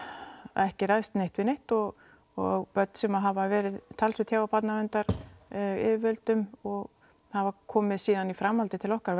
ekki ræðst neitt við neitt og og börn sem hafa verið talsvert hjá barnaverndaryfirvöldum og hafa komið síðan í framhaldi til okkar